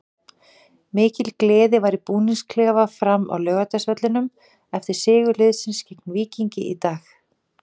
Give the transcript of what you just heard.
Mikil gleði var í búningsklefa Fram á Laugardalsvellinum eftir sigur liðsins gegn Víkingi í dag.